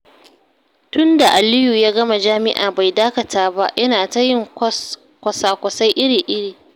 Tun da Aliyu ya gama jami'a bai dakata ba, yana ta yin kwasa-kwasai iri-iri.